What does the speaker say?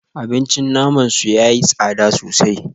Abincin naman su yayi tsada sosai